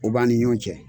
O b'an ni ɲɔɔn cɛ